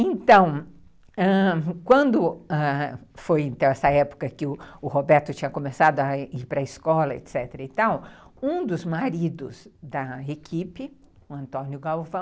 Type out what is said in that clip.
Então, ãh... quando foi essa época que o Roberto tinha começado a ir para a escola, etc., um dos maridos da equipe, o Antônio Galvão,